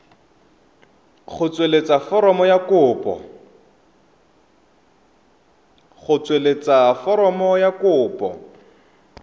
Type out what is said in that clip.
go tsweletsa foromo ya kopo